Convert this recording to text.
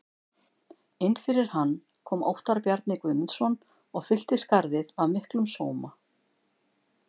Inn fyrir hann kom Óttar Bjarni Guðmundsson og fyllti skarðið af miklum sóma.